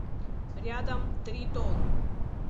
рядом тритон